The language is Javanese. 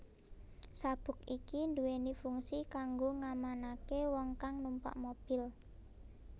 Sabuk iki duwéni fungsi kanggo ngamanaké wong kang numpak mobil